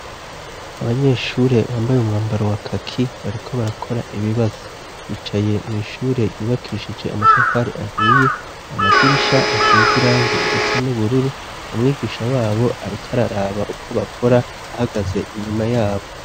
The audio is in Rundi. Abanyeshure bambaye umwambaro wa kaki bariko barakora ibibazo bicaye mwishure ryubakishije amatafari ahiye amadirisha asize irangi risa n'ubururu umwigisha wabo ariko araraba uko bakora ahagaze inyuma yabo.